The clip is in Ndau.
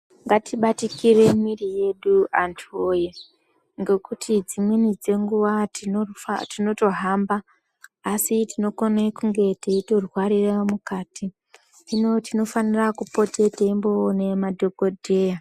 Ngatibatikire mwiri yedu antu woye ngekuti dzimweni dzenguva tinotohamba asi kuti tinokone kutonge teyirwarira mukati. Hino tinofanirwa kupote teyinoone madhokodheya.